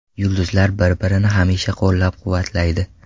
Yulduzlar bir-birini hamisha qo‘llab-quvvatlaydi.